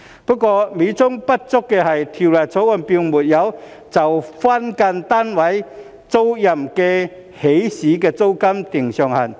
不過，美中不足的是《條例草案》並沒有就分間單位租賃的起始租金訂定上限。